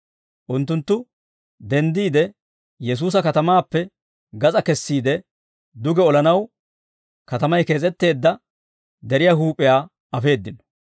Unttunttu denddiide Yesuusa katamaappe gas'aa kessiide duge olanaw katamay kees'etteedda deriyaa huup'iyaa afeeddino.